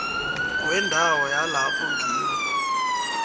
wendawo yalapho ngiwo